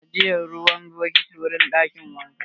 Ana ajiye ruwa cikin bokiti a ɗakin wanka.